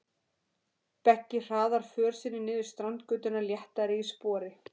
Beggi hraðar för sinni niður Strandgötuna léttari í spori.